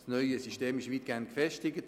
Das neue System ist weitgehend gefestigt.